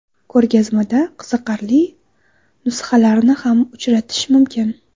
Ko‘rgazmada qiziqarli nusxalarni ham uchratish mumkin.